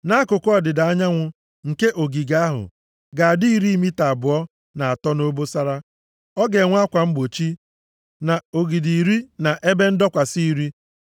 “Akụkụ ọdịda anyanwụ nke ogige ahụ ga-adị iri mita abụọ na atọ nʼobosara. Ọ ga-enwe akwa mgbochi, na ogidi iri na ebe ndọkwasị iri.